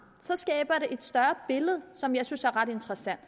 skaber det et større billede som jeg synes er ret interessant